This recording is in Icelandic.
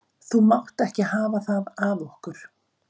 Þú mátt ekki hafa það af okkur